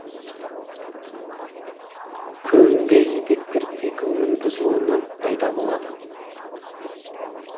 көбінде етеккір циклының бұзылуынан пайда болады